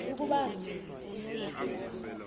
ukuba sisiphi na